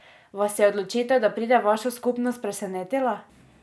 Vas je odločitev, da pride v vašo skupnost, presenetila?